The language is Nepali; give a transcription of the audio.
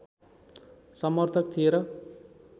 समर्थक थिए र